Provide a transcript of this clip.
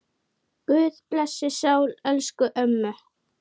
Guð blessi sál elsku ömmu.